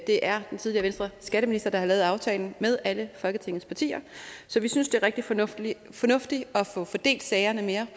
det er den tidligere venstreskatteminister der har lavet aftalen med alle folketingets partier så vi synes det er rigtig fornuftigt fornuftigt at få fordelt sagerne mere